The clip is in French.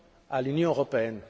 à l'Union européenne